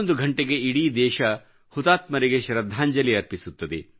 11ಘಂಟೆಗೆ ಇಡೀ ದೇಶವು ಹುತಾತ್ಮರಿಗೆ ಶ್ರದ್ಧಾಂಜಲಿ ಅರ್ಪಿಸುತ್ತದೆ